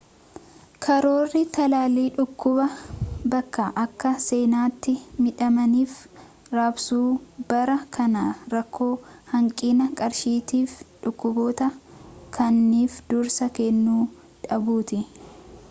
karoorri talaallii dhukkubaa bakka akka seenaatti midhamaniif raabsuubara kana rakkoo hanqina qarshiitiifi dhukkuboota kaaniif dursa kennu dhabuuti